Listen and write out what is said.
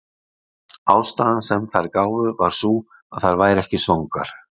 ástæðan sem þær gáfu var sú að þær væru ekki svangar